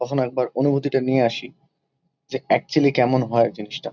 কখনো একবার অনুভূতিটা নিয়ে আসি যে একচুয়ালি কেমন হয় জিনিসটা।